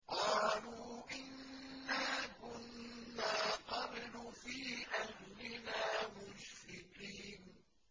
قَالُوا إِنَّا كُنَّا قَبْلُ فِي أَهْلِنَا مُشْفِقِينَ